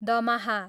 दमाहा